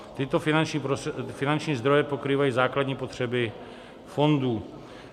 Tyto finanční zdroje pokrývají základní potřeby fondů.